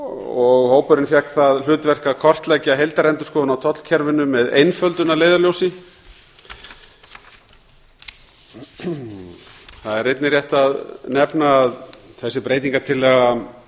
og hópurinn fékk það hlutverk að kortleggja heildarendurskoðun á tollkerfinu með einföldun að leiðarljósi það er einnig rétt að nefna að þessi breytingartillaga